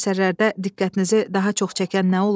Bu əsərlərdə diqqətinizi daha çox çəkən nə olub?